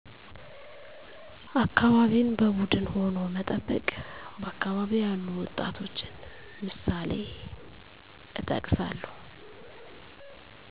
አካባቢን በቡድን ሁኖ መጠበቅ በአካባቢ ያሉ ወጣቶችንምሳሌእጠቅሳለሁ